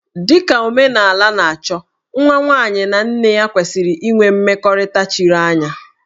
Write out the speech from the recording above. Dị ka omenala na-achọ, nwa nwaanyị na nne ya kwesịrị inwe mmekọrịta chiri anya